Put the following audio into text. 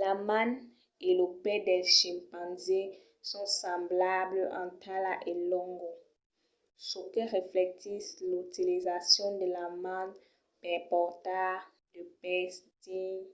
la man e lo pè del chimpanzé son semblables en talha e longo çò que reflectís l'utilizacion de la man per portar de pes dins